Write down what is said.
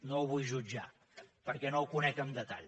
no ho vull jutjar perquè no ho conec en detall